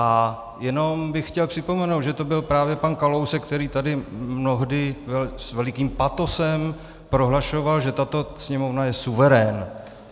A jenom bych chtěl připomenout, že to byl právě pan Kalousek, který tady mnohdy s velikým patosem prohlašoval, že tato Sněmovna je suverén.